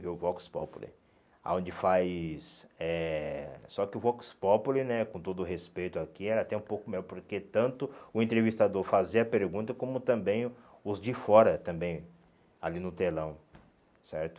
viu o Vox Populi, aonde faz eh... Só que o Vox Populi, com todo o respeito aqui, era até um pouco melhor, porque tanto o entrevistador fazia a pergunta, como também o os de fora, também, ali no telão, certo?